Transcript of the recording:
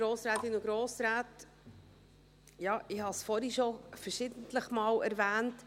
Ja, ich habe es vorhin schon verschiedentlich erwähnt.